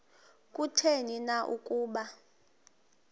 kutheni na ukuba